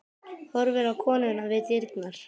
Horfir á konuna við dyrnar.